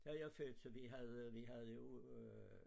Der er jeg født så vi havde vi havde jo øh